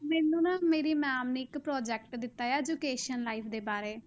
ਮੈਨੂੰ ਨਾ ਮੇਰੀ ma'am ਨੇ ਇੱਕ project ਦਿੱਤਾ ਆ education line ਦੇ ਬਾਰੇ।